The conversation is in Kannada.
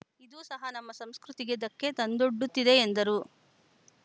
ಇದೂ ಸಹ ನಮ್ಮ ಸಂಸ್ಕೃತಿಗೆ ಧಕ್ಕೆ ತಂದೊಡ್ಡುತ್ತಿದೆ ಎಂದರು